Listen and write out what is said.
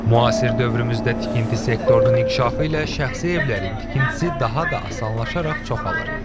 Müasir dövrümüzdə tikinti sektorunun inkişafı ilə şəxsi evlərin tikintisi daha da asanlaşaraq çoxalır.